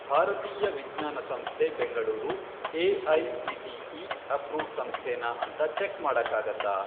ಭಾರತೀಯ ವಿಜ್ಞಾನ ಸಂಸ್ಥೆ ಬೆಂಗಳೂರು ಎ.ಐ.ಸಿ.ಟಿ.ಇ. ಅಪ್ರೂವ್ಡ್ ಸಂಸ್ಥೆನಾ ಅಂತ ಚೆಕ್ ಮಾಡಕ್ಕಾಗತ್ತಾ?